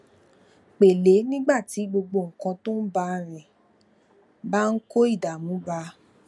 pèlé nígbà tí gbogbo nǹkan tó ń bá a rìn bá ń kó ìdààmú bá a